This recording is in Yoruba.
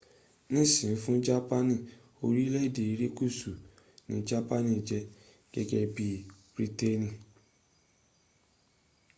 nisin fun japani orileede irekusu ni japani je gege bii briteeni